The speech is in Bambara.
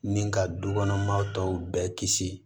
Ni ka dukɔnɔmaw tɔw bɛɛ kisi